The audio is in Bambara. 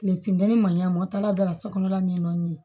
Kile fitini ma ɲami taala bɛɛ la so kɔnɔla min nɔ